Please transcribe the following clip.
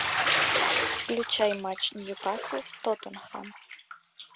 включай матч ньюкасл тоттенхэм